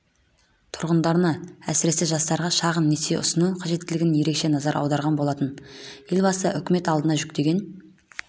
тұрғындарына әсіресе жастарға шағын несие ұсыну қажеттілігіне ерекше назар аударған болатын елбасының үкімет алдына жүктеген